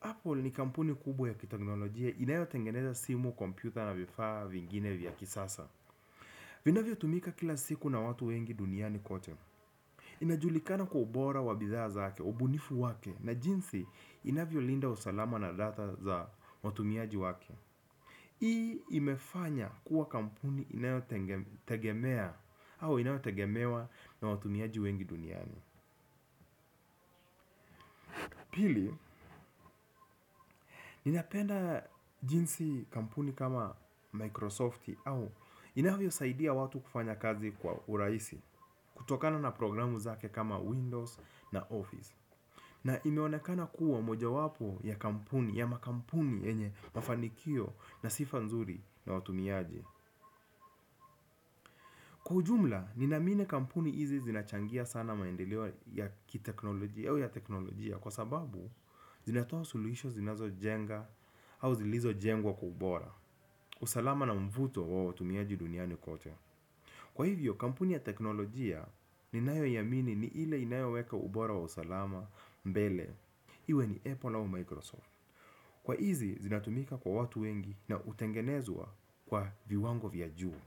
Apple ni kampuni kubwa ya kiteknolojia inayo tengeneza simu, kompyuta na vifaa vingine vya kisasa. Vinavyo tumika kila siku na watu wengi duniani kote. Inajulikana kwa ubora wa bidhaa zake ubunifu wake na jinsi inavyolinda usalama na data za watumiaji wake. Hii imefanya kuwa kampuni inayotegemewa na watumiaji wengi duniani. Pili, ninapenda jinsi kampuni kama Microsoft au inavyo saidia watu kufanya kazi kwa uraisi kutokana na programu zake kama Windows na Office. Na imeonekana kuwa moja wapo ya kampuni, ya makampuni enye mafanikio na sifa nzuri na watumiaji. Kwa ujumla, ninamini kampuni hizi zinachangia sana maendelewa ya teknolojia. Kwa sababu, zinatoa suluhisho zinazo jenga au zilizo jengwa kwa ubora usalama na mvuto wawo tumiaji duniani kote. Kwa hivyo, kampuni ya teknolojia ninayo yamini ni ile inayo weka ubora wa usalama mbele. Iwe ni Apple au Microsoft. Kwa hizi, zinatumika kwa watu wengi na utengenezwa kwa viwango viyajuu.